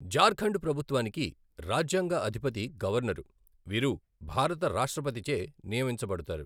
జార్ఖండ్ ప్రభుత్వానికి రాజ్యాంగ అధిపతి గవర్నరు, వీరు భారత రాష్ట్రపతిచే నియమించబడతారు.